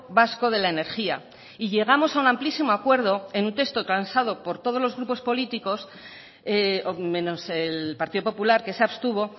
vasco de la energía y llegamos a un amplísimo acuerdo en un texto transado por todos los grupos políticos menos el partido popular que se abstuvo